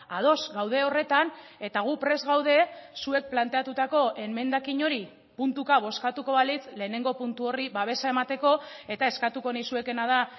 ados gaude horretan eta gu prest gaude zuek planteatutako emendakin hori puntuka bozkatuko balitz lehenengo puntu horri babesa emateko eta eskatuko nizuekeena da